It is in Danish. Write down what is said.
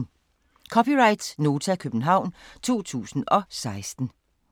(c) Nota, København 2016